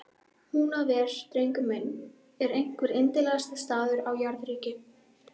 Húnaver, drengur minn, er einhver yndislegasti staður á jarðríki.